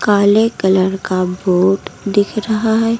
काले कलर का बोर्ड दिख रहा है।